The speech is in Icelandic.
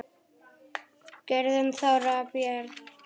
Guðrún Þóra og börn.